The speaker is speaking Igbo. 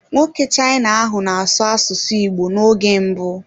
Nwoke China ahụ na-asụ asụsụ Igbo n'oge mbụ